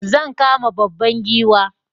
Zan kama babban giwa